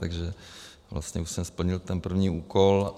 Takže vlastně už jsem splnil ten první úkol.